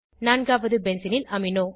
நான்காவது பென்சீனில் அமினோ